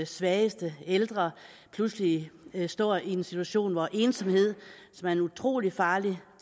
svageste ældre pludselig står i en situation hvor ensomheden som er en utrolig farlig